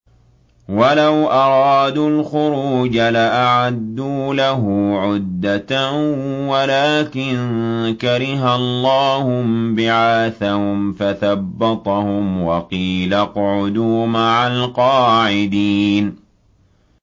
۞ وَلَوْ أَرَادُوا الْخُرُوجَ لَأَعَدُّوا لَهُ عُدَّةً وَلَٰكِن كَرِهَ اللَّهُ انبِعَاثَهُمْ فَثَبَّطَهُمْ وَقِيلَ اقْعُدُوا مَعَ الْقَاعِدِينَ